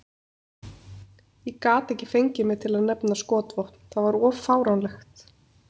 Ég gat ekki fengið mig til að nefna skotvopn, það var of fáránlegt.